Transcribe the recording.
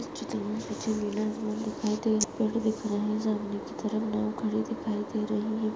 इस चित्र मे पेड दिख रहे है सामने कि तरफ नाव खड़ी दिखाई दे रही है।